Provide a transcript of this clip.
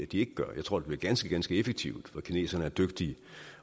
de ikke gør jeg tror det bliver ganske ganske effektivt for kineserne er dygtige